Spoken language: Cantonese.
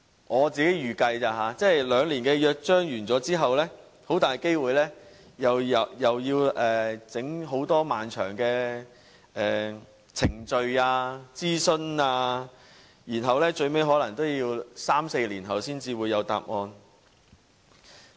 我自己預計，兩年約章完結後，很大機會又要進行很多漫長的程序、諮詢，最後可能要三四年後才會有答案。